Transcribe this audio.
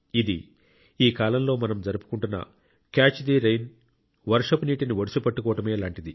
డఅని అర్థం ఈ కాలంలో మనం జరుపుకునే క్యాచ్ ది రెయిన్ వర్షపు నీటిని ఒడిసిపట్టుకోవడమే